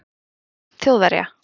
Sókn Þjóðverja